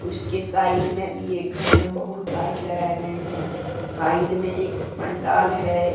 उसके साइड में भी एक घर में बहुत लाइट लगाए गए हैं। साइड में एक पंडाल है।